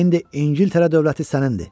İndi İngiltərə dövləti sənindir.